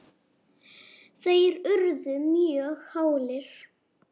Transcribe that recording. þeir urðu mjög hálir.